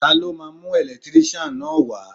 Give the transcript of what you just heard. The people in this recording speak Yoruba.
Ta ló máa mú ẹ̀lẹ́tíríṣàn náà wá?